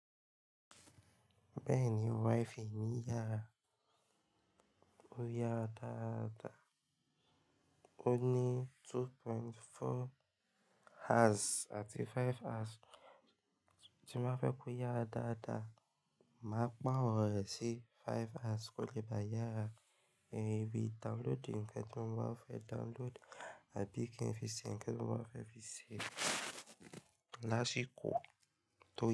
Bẹ́ẹ̀ni, wifì mi yàrá ó yára dáadáa. Ó ní 2.4hz àti 5hz. Tí má fẹ́ kó yára dáadáa, màá pàro rẹ sí 5haz kó lè bá yàrá ìbì downloadi nkan tí mo bá fẹ́ downloadi àbí kin fí se nkan tí mo bá fẹ́ fi ṣẹ́ lásìkò tó yẹ.